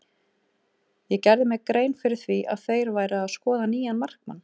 Ég gerði mér grein fyrir því að þeir væru að skoða nýjan markmann.